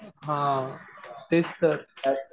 हा तेच तर.